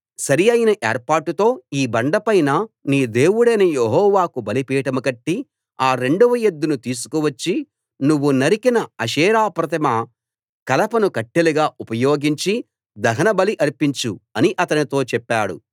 సరి అయిన ఏర్పాటుతో ఈ బండ పైన నీ దేవుడైన యెహోవాకు బలిపీఠం కట్టి ఆ రెండవ ఎద్దును తీసుకు వచ్చి నువ్వు నరికిన ఆషేరా ప్రతిమ కలపను కట్టెలుగా ఉపయోగించి దహనబలి ఆర్పించు అని అతనితో చెప్పాడు